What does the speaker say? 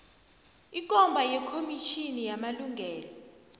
ikomba yekomitjhini yamalungelo